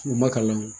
U ma kalan